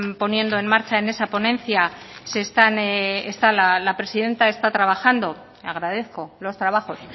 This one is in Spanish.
poniendo en marcha en esa ponencia se están esta la presidenta está trabajando agradezco los trabajos